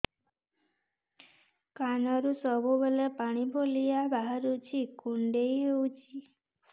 କାନରୁ ସବୁବେଳେ ପାଣି ଭଳିଆ ବାହାରୁଚି କୁଣ୍ଡେଇ ହଉଚି